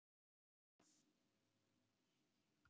Síðari spurning dagsins er: Hvaða lið vinnur EM?